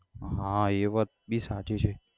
હા એ વાત ભી સાચી છે.